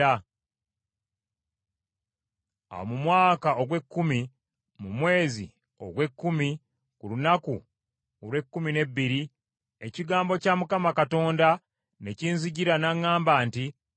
Awo mu mwaka ogw’ekkumi, mu mwezi ogw’ekkumi ku lunaku olw’ekkumi n’ebbiri, ekigambo kya Mukama Katonda ne kinzijira n’aŋŋamba nti,